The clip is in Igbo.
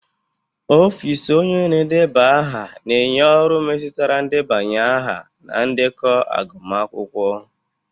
Ọfịs onye na-edeba aha na-enye ọrụ metụtara ndebanye aha na ndekọ agụmakwụkwọ